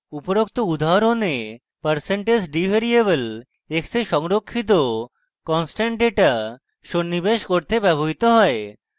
উপরোক্ত উদাহরণে percentage d % d variable x a সংরক্ষিত constant ডেটা সন্নিবেশ করতে ব্যবহৃত হয় এবং